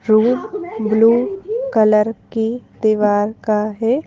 Room blue colour की दीवार का है।